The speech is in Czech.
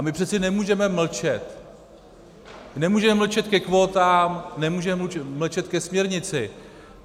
A my přece nemůžeme mlčet, nemůžeme mlčet ke kvótám, nemůžeme mlčet ke směrnici.